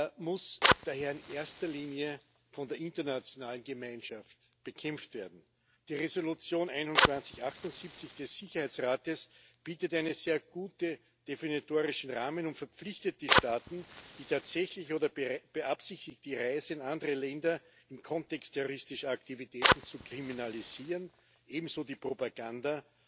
Er muss daher in erster Linie von der internationalen Gemeinschaft bekämpft werden Die Resolution 2178 des Sicherheitsrates bietet einen sehr guten definitorischen Rahmen und verpflichtet die Staaten, die tatsächliche oder beabsichtigte Reise in andere Länder im Kontext terroristischer Aktivitäten zu kriminalisieren, ebenso die Propaganda